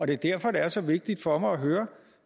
det er derfor det er så vigtigt for mig at høre